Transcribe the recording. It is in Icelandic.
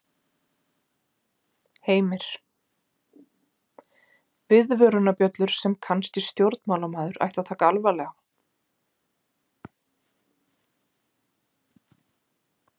Heimir: Viðvörunarbjöllur sem að kannski stjórnmálamaður ætti að taka alvarlega?